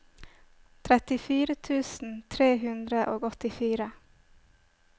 trettifire tusen tre hundre og åttifire